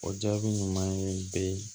O jaabi ɲuman ye bɛ